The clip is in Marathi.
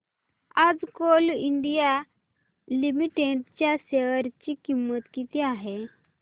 आज कोल इंडिया लिमिटेड च्या शेअर ची किंमत किती आहे